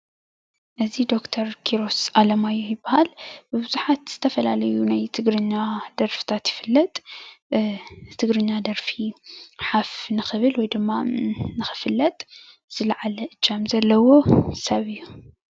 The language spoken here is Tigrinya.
እዚ ዶክተር ኪሮስ ኣለማዮህ ይባሃል፣ ብቡዙሓት ዝተፈላለዩ ናይ ትግርኛ ደርፍታት ይፍለጥ፣ ትግርኛ ደርፊ ሓፍ ንክብል ወይ ድማ ንክፍለጥ ዝለዓለ እጃም ዘለዎ ሰብ እዩ፡፡